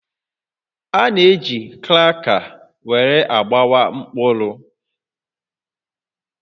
A na-eji kraka were agbawa mkpụrụ